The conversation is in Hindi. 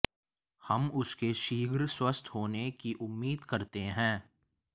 हम उसके शीघ्र स्वस्थ होने की उम्मीद करते हैं